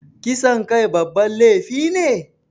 Kisan kai babban laifi ne?